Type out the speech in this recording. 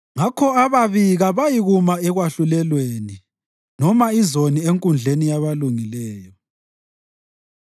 Ngakho ababi kabayikuma ekwahlulelweni, noma izoni enkundleni yabalungileyo.